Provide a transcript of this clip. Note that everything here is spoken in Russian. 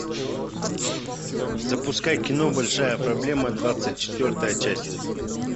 запускай кино большая проблема двадцать четвертая часть